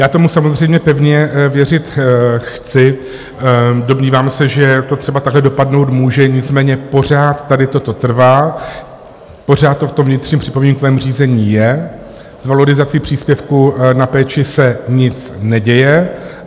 Já tomu samozřejmě pevně věřit chci, domnívám se, že to třeba takhle dopadnout může, nicméně pořád tady toto trvá, pořád to v tom vnitřním připomínkovém řízení je, s valorizací příspěvku na péči se nic neděje.